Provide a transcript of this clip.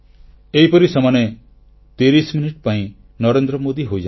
ଏହିପରି ସେମାନେ 30 ମିନିଟ୍ ପାଇଁ ନରେନ୍ଦ୍ର ମୋଦୀ ହୋଇଯାନ୍ତି